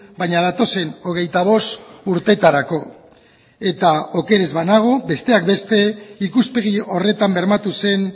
baina datozen hogeita bost urteetarako eta oker ez banago besteak beste ikuspegi horretan bermatu zen